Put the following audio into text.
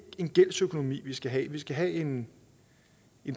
en gældsøkonomi vi skal have vi skal have en